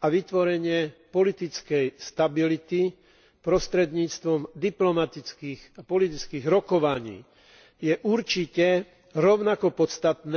a vytvorenie politickej stability prostredníctvom diplomatických a politických rokovaní je určite rovnako podstatné